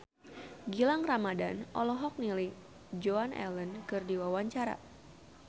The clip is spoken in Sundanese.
Gilang Ramadan olohok ningali Joan Allen keur diwawancara